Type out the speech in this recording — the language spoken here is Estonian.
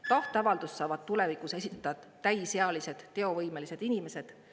Tahteavaldust saavad tulevikus esitada täisealised teovõimelised inimesed.